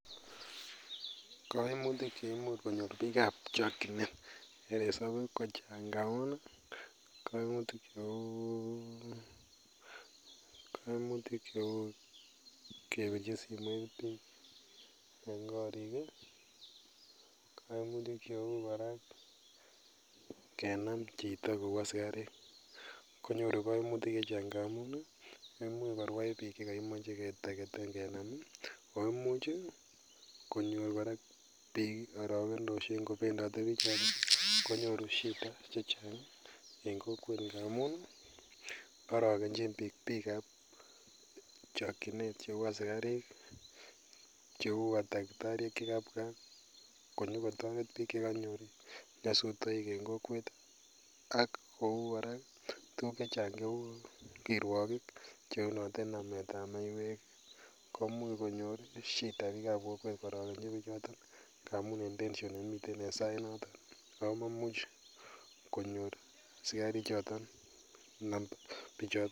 Kaimutik cheimuche konyor bikab chokchinet ko kaimutik cheuu kebiche simoit bik en korik ih, kaimutik cheuu kenam chito . Yeimuch korwai bik koimuch kenam ih , kenam chito konyuru kaimutik chechang ngamuun ih koimuch korwai Kotor kenam ih , koimuch anan arakenosiek koarogenchin bik cheuu konyokotaret bik chekanyor en kokwet ak kouu kora tuguk checheng kouu kirwokik chebendi komuch konyor ngamun en tension en sait noto komuch konyor asikarik bichoton